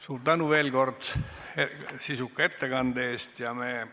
Suur tänu veel kord sisuka ettekande eest!